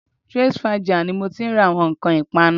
Twinsfaja ni mo ti ń ra àwọn nǹkan ìpanu